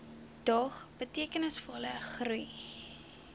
dog betekenisvolle groei